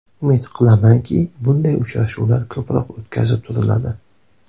Umid qilamanki, bunday uchrashuvlar ko‘proq o‘tkazib turiladi”.